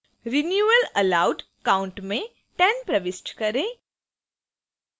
renewals allowed count में 10 प्रविष्ट करें